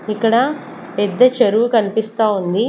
ఇక్కడ పెద్ద చెరువు కనిపిస్తా ఉంది.